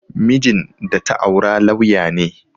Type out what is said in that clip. Mijin da ta aura lauya ne